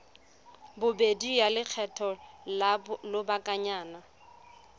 bobedi ya lekgetho la lobakanyana